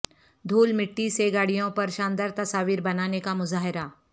دھول مٹی سے گاڑیوں پر شاندار تصاویر بنانے کا مظاہرہ